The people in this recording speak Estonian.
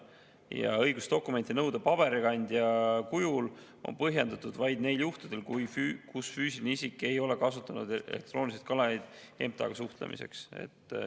Ja õigus nõuda dokumenti paberikandjal on põhjendatud vaid neil juhtudel, kus füüsiline isik ei ole kasutanud elektroonilist kanalit MTA-ga suhtlemiseks.